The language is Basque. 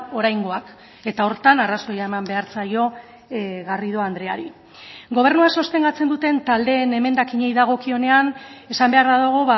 oraingoak eta horretan arrazoia eman behar zaio garrido andreari gobernua sostengatzen duten taldeen emendakinei dagokionean esan beharra dago